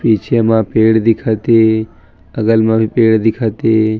पिछे मा पेड़ दिखत हे बगल मा भी पेड़ दिखत हे।